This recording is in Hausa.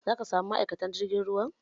Za ka sami ma'aikatan jirgin ruwan